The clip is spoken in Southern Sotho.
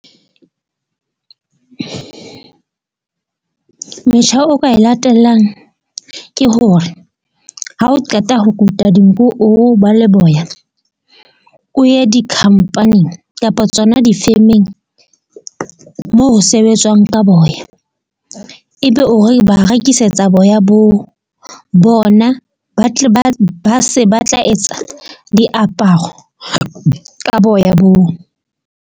Metjha, o ka e latellang ke hore ha o qeta ho kuta dinku, o ba le boya o ye dikhampaning kapa tsona di-firming moo ho sebetswang ka boya. Ebe o re ba rekisetsa boya bo bona, ba tle ba se ba tla etsa diaparo ka boya bo.